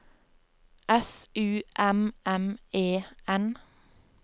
S U M M E N